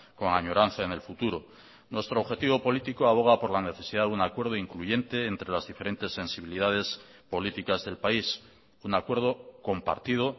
con añoranza en el futuro nuestro objetivo político aboga por la necesidad de un acuerdo incluyente entre las diferentes sensibilidades políticas del país un acuerdo compartido